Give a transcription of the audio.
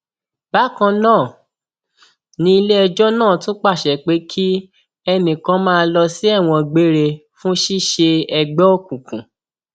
bákan náà ni iléẹjọ náà tún pàṣẹ pé kí ẹnì kan máa lọ sí ẹwọn gbére fún ṣíṣe ẹgbẹ òkùnkùn